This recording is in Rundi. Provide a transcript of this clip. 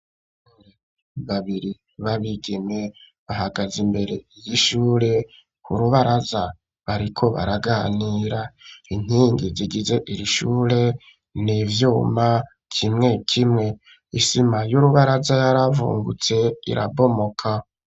Babiri b'abigime bahagaze imbere y'ishure ku rubaraza bariko baraganira inkingi zigize iri shure nivyuma kimwe kimwe isima y'urubaraza yaravungutse irabomoka.